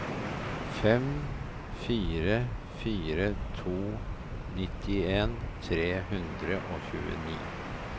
fem fire fire to nittien tre hundre og tjueni